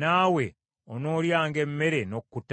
naawe onoolyanga emmere n’okkuta.